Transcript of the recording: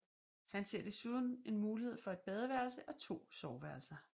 Han ser desuden en mulighed for et badeværelse og to soveværelser